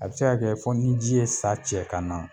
A bɛ se ka kɛ fɔ ni ji ye sa cɛ ka na.